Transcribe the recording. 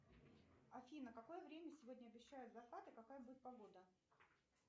афина в какое время сегодня обещают закат и какая будет погода